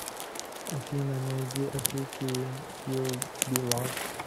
афина найди авики ю би лав